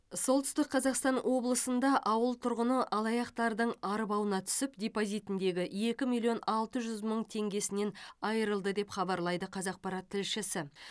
солтүстік қазақстан облысында ауыл тұрғыны алаяқтардың арбауына түсіп депозитіндегі екі миллион алты жүз мың теңгесінен айырылды деп хабарлайды қазақпарат тілшісі